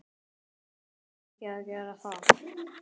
Verð ég ekki að gera það?